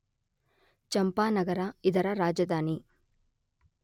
ಚಂಪಾನಗರ ಇದರ ರಾಜಧಾನಿ.